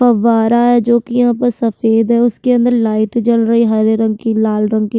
फव्वारा है जो कि यहाँ पे सफ़ेद है उसके अंदर लाइट जल रही है हरे रंग की लाल रंग की।